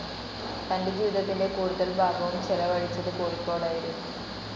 തന്റെ ജീവിതത്തിന്റെ കൂടുതൽ ഭാഗവും ചെലവഴിച്ചത് കോഴിക്കോട്ടായിരുന്നു.